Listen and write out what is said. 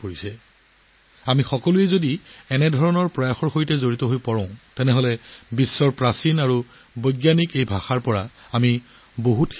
যদি আমি সকলোৱে এনে প্ৰচেষ্টাৰ সৈতে সংযোগ স্থাপন কৰোঁ তেন্তে আমি পৃথিৱীৰ এনে প্ৰাচীন আৰু বৈজ্ঞানিক ভাষাৰ পৰা বহু কথা শিকিবলৈ পাম